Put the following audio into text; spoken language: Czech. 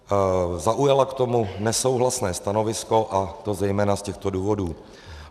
Zaujala k tomu nesouhlasné stanovisko, a to zejména z těchto důvodů.